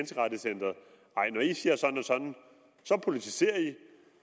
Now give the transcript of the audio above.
når de siger sådan og sådan politiserer de